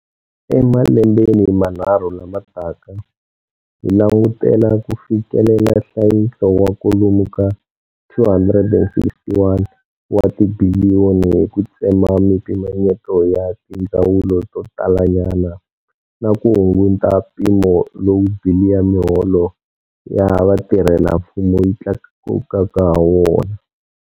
Emalembeni manharhu lama taka, hi langutela ku fikelela nhlayiso wa kwalomu ka R261 wa tibiliyoni hi ku tsema mipimanyeto ya tindzawulo to talanyana na ku hunguta mpimo lowu bili ya miholo ya vatirhelamfumo yi tlakuka hawona.